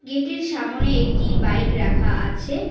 গেটের সামোনে একটি বাইক রাখা আছে।